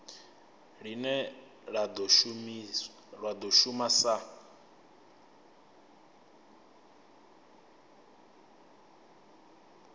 line la do shuma sa